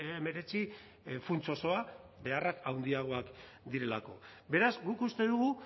hemeretzi funts osoa beharrak handiagoak direlako beraz guk uste dugu